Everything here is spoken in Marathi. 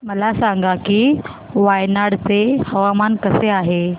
मला सांगा की वायनाड चे हवामान कसे आहे